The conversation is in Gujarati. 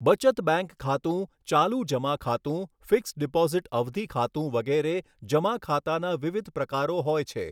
બચત બેંક ખાતું, ચાલુ જમા ખાતું, ફીકસ્ડ ડીપોઝીટ અવધિ ખાતું વગેરે જમા ખાતાના વિવિધ પ્રકારો હોય છે.